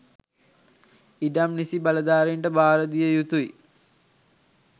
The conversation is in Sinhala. ඉඩම් නිසි බලධාරීන්ට භාරදිය යුතුයි